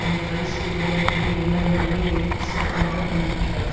என்று ரைஸ் கூறுவதன் பொருள் என்ன என்பதையும் ஒயிட் சுருக்கமாக தந்திருக்கிறார்